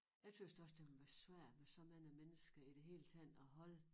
Jeg tøs da også det må være svært med så mange mennesker i det hele taget at holde